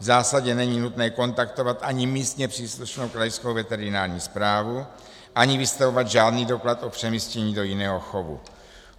V zásadě není nutné kontaktovat ani místně příslušnou krajskou veterinární správu, ani vystavovat žádný doklad o přemístění do jiného chovu.